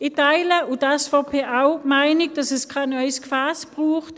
Ich und die SVP teilen die Meinung, dass es kein neues Gefäss braucht.